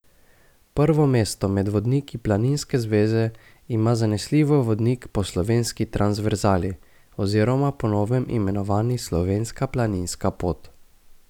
Prvo mesto med vodniki planinske zveze ima zanesljivo vodnik po slovenski transverzali oziroma po novem imenovani Slovenska planinska pot.